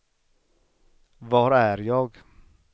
var är jag